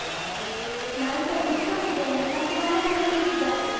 ನಾನ್ಸ ಕೂತ್ಕೊಂಡಿದ್ದೇನೆ ಮತ್ತೆ ಮನೇಲಿ ಎಲ್ಲ ಹೇಗಿದ್ದಾರೆ?